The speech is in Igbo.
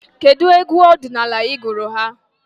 Kedụ egwu ọdịnala ị gụrụ ha?